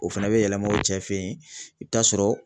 O fɛnɛ be yɛlɛma o cɛ fe yen i bi taa sɔrɔ